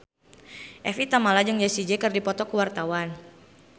Evie Tamala jeung Jessie J keur dipoto ku wartawan